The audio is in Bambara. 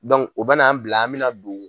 o bɛ n'an bila an mɛna don